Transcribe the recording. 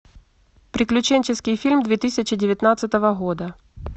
приключенческий фильм две тысячи девятнадцатого года